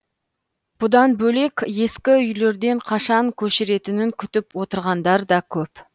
бұдан бөлек ескі үйлерден қашан көшіретінін күтіп отырғандар да көп